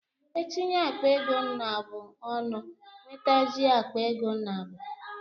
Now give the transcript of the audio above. E tinye akpa ego naabụ ọnụ, nwetazie akpa ego naabu